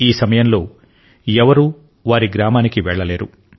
ఈ సమయంలో ఎవరూ వారి గ్రామానికి వెళ్లలేరు